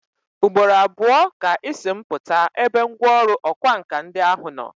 Ugboro abụọ ka Ị si m pụta ebe ngwọrụ ọkwa nka ndi ahụ nọ.